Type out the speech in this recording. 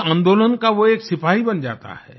उस आन्दोलन का वो एक सिपाही बन जाता है